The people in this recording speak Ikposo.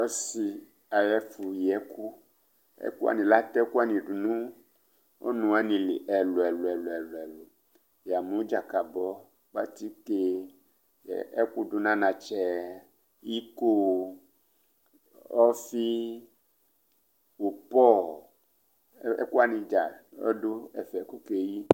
Ɔsi ayʋ ɛfʋyi ɛkʋ Latɛ ɛkʋ wani du nʋ ɔnʋ li ɛlʋ ɛlʋ Yamu: dzakabɔ, kpǝtike, ɛkʋdu nʋ anatsɛ, iko, ɔfɩ, ʋpɔ Ɛkʋ wani dza adu ɛfɛ, kʋ okeyi